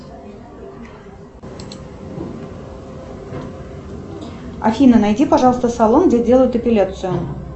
афина найди пожалуйста салон где делают эпиляцию